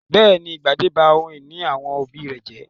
Bẹ́ẹ̀ ni, Gbadé ba ohun-ìní àwọn òbí rẹ̀ jẹ́.